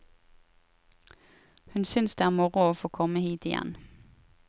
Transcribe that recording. Hun synes det er moro å få komme hit igjen.